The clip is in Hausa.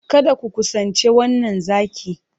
Kada ku kusanci wannan zaki!